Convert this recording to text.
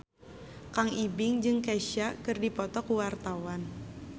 Kang Ibing jeung Kesha keur dipoto ku wartawan